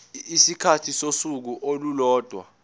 isikhathi sosuku olulodwa